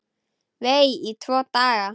Vei, í tvo daga!